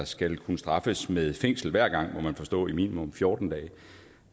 skal kunne straffes med fængsel hver gang må man forstå i minimum fjorten dage